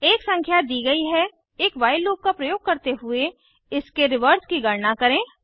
एक संख्या दी गई है एक व्हाइल लूप का प्रयोग करते हुए इसके व्युत्क्रम रिवर्स की गणना करें